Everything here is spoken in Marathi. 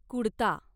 कुडता